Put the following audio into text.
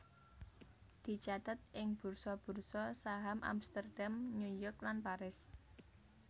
dicathet ing bursa bursa saham Amsterdam New York lan Paris